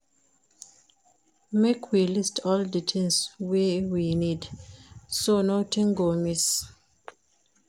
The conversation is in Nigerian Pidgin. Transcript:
Make we list all di tins wey we need, so notin go miss.